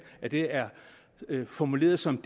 at det er formuleret som